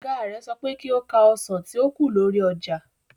Ọ̀gá rẹ̀ sọ pé kí ó ka ọsàn tí ó kù lórí ọjà.